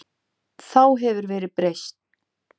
Þá hefur verðið breyst.